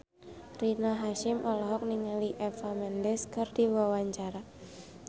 Rina Hasyim olohok ningali Eva Mendes keur diwawancara